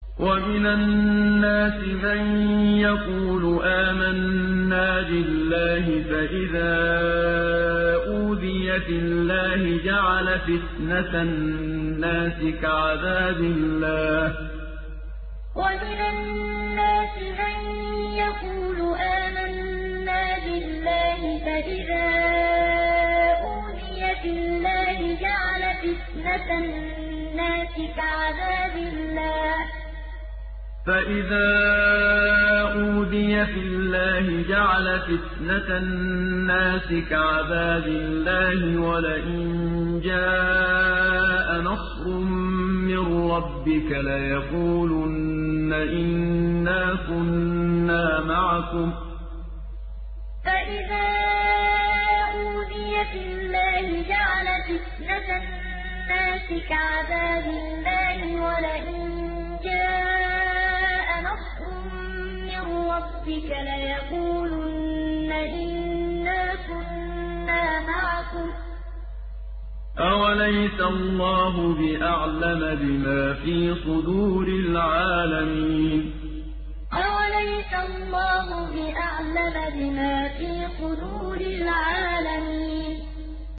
وَمِنَ النَّاسِ مَن يَقُولُ آمَنَّا بِاللَّهِ فَإِذَا أُوذِيَ فِي اللَّهِ جَعَلَ فِتْنَةَ النَّاسِ كَعَذَابِ اللَّهِ وَلَئِن جَاءَ نَصْرٌ مِّن رَّبِّكَ لَيَقُولُنَّ إِنَّا كُنَّا مَعَكُمْ ۚ أَوَلَيْسَ اللَّهُ بِأَعْلَمَ بِمَا فِي صُدُورِ الْعَالَمِينَ وَمِنَ النَّاسِ مَن يَقُولُ آمَنَّا بِاللَّهِ فَإِذَا أُوذِيَ فِي اللَّهِ جَعَلَ فِتْنَةَ النَّاسِ كَعَذَابِ اللَّهِ وَلَئِن جَاءَ نَصْرٌ مِّن رَّبِّكَ لَيَقُولُنَّ إِنَّا كُنَّا مَعَكُمْ ۚ أَوَلَيْسَ اللَّهُ بِأَعْلَمَ بِمَا فِي صُدُورِ الْعَالَمِينَ